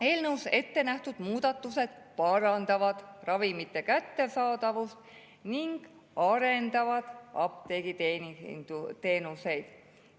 Eelnõus ette nähtud muudatused parandavad ravimite kättesaadavust ning arendavad apteegiteenuseid.